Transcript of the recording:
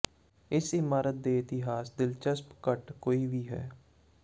ਇਸ ਇਮਾਰਤ ਦੇ ਇਤਿਹਾਸ ਦਿਲਚਸਪ ਘੱਟ ਕੋਈ ਵੀ ਹੈ